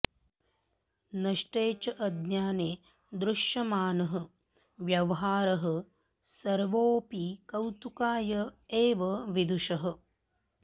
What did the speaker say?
नष्टे च अज्ञाने दृश्यमानः व्यवहारः सर्वोऽपि कौतुकाय एव विदुषः